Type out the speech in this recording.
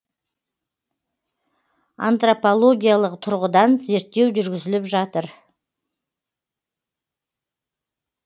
антропологиялық тұрғыдан зерттеу жүргізіліп жатыр